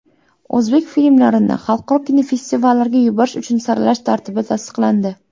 O‘zbek filmlarini xalqaro kinofestivallarga yuborish uchun saralash tartibi tasdiqlandi.